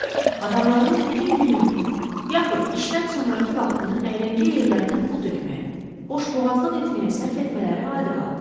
Adamların bütün gününü, yaxud işdən sonrakı vaxtını əyləncə yerlərinə pul tökməyə, boşboğazlıq etməyə sərf etmələri adi haldır.